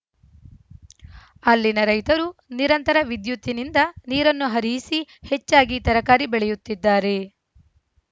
ಅಲ್ಲಿನ ರೈತರು ನಿರಂತರ ವಿದ್ಯುತ್ತಿನಿಂದ ನೀರನ್ನು ಹರಿಯಿಸಿ ಹೆಚ್ಚಾಗಿ ತರಕಾರಿ ಬೆಳೆಯುತ್ತಿದ್ದಾರೆ